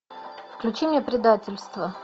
включи мне предательство